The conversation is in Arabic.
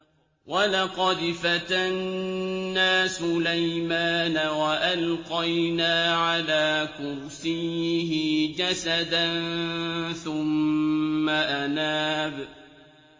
وَلَقَدْ فَتَنَّا سُلَيْمَانَ وَأَلْقَيْنَا عَلَىٰ كُرْسِيِّهِ جَسَدًا ثُمَّ أَنَابَ